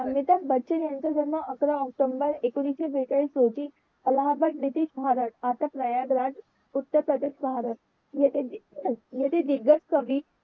अमिताभ बच्चन यांचा जन्म अकरा ऑक्टोबर एकोणविशे बेचाळीस रोजी अहलाबाद लिपिक भागात आकाश न्यायालयात उत्तर प्रदेश भागात दिगंज कवी